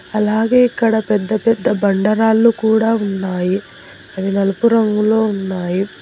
అలాగే ఇక్కడ పెద్ద పెద్ద బండ రాళ్లు కూడా ఉన్నాయి అవి నలుపు రంగులో ఉన్నాయి.